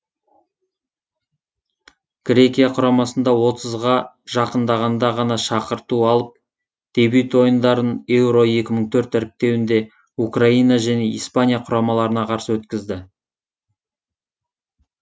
грекия құрамасында отызға жақындағанда ғана шақырту алып дебют ойындарын еуро екі мың төрт іріктеуінде украина және испания құрамаларына қарсы өткізді